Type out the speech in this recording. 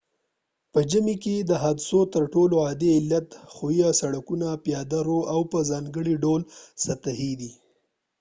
په ژمي کې د حادثو تر ټولو عادي علت ښویه سړکونه پیاده رو او په ځانګړي ډول سطحې دي